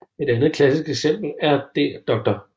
Et andet klassisk eksempel er Dr